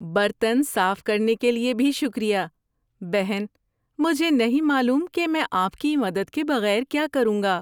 برتن صاف کرنے کے لیے بھی شکریہ، بہن۔ مجھے نہیں معلوم کہ میں آپ کی مدد کے بغیر کیا کروں گا۔